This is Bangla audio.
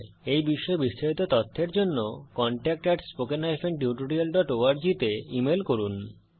এই বিষয়ে বিস্তারিত তথ্যের জন্য contactspoken tutorialorg তে ইমেল করুন